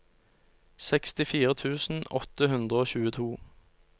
sekstifire tusen åtte hundre og tjueto